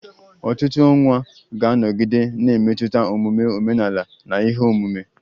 Ọtụtụ ọnwa ga-anọgide na-emetụta omume omenala na ihe omume